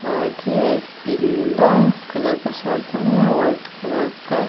आगे पीला कलर का शर्ट पहना है व्हाइट कलर का--